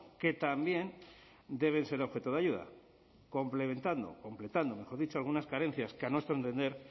que también deben ser objeto de ayuda complementando completando mejor dicho algunas carencias que a nuestro entender